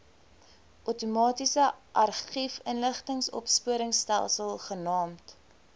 outomatiese argiefinligtingsopspoorstelsel genaamd